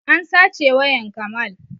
An sace wayan kamal